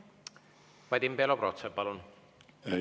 Vadim Belobrovtsev, palun!